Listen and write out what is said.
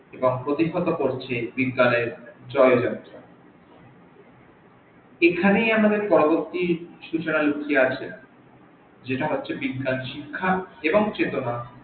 এবং প্রতিহত করছে বিজ্ঞানের জয়যাত্রা এখানেই আমাদের পরবর্তী সুচনা লুকিয়ে আছে যেটা হচ্ছে বিজ্ঞান শিক্ষা এবং চেতনা